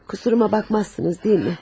Qusuruma baxmazsınız, deyilmi?